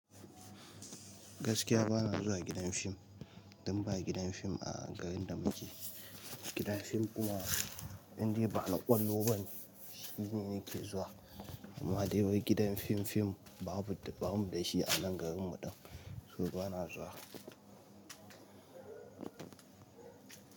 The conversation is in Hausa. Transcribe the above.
Gaskiya ba na zuwa gidan fim, dun ba gidan fim a garin da muke. Gidan fim kuma indai ba na ƙwallo bane shi ne nake zuwa. Amma dai wai gidan fim fim babu, bamu da shi a nan garin mu ɗin, so ba na zuwa.